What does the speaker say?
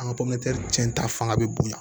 An ka cɛnta fanga be bonya